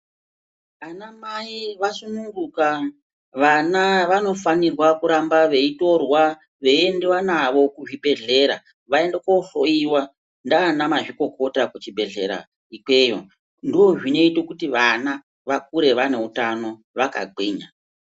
Anamai vasungunuka vana vanofanirwa kurambwa veiendiwa kuzvibhedhlera vanohloyiwa nana mazvikokota kuchibhedhlera ikweyo ndozvinoita kuti vana vakure vaine utano vakagwinya .